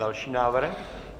Další návrh?